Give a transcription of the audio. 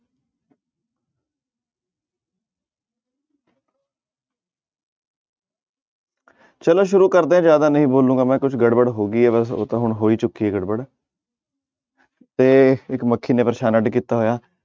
ਚਲੋ ਸ਼ੁਰੂ ਕਰਦੇ ਹਾਂ ਜ਼ਿਆਦਾ ਨੀ ਬੋਲਾਂਗਾ ਮੈਂ ਕੁਛ ਗੜਬੜ ਹੋ ਗਈ ਆ ਵੈਸੇ ਉਹ ਤਾਂ ਹੁਣ ਹੋਈ ਚੁੱਕੀ ਹੈ ਗੜਬੜ ਤੇ ਇੱਕ ਮੱਖੀ ਨੇ ਪਰੇਸਾਨ ਅੱਢ ਕੀਤਾ ਹੋਇਆ।